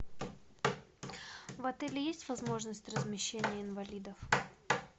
в отеле есть возможность размещения инвалидов